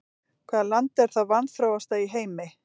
Hvaða land er það vanþróaðasta í heimi?